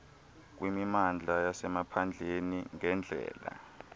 kwimimandla yasemaphandleni ngeendlela